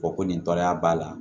Ko ko nin tɔɔrɔya b'a la